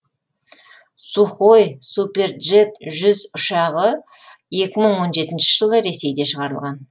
сухой суперджет жүз ұшағы екі мың он жетінші жылы ресейде шығарылған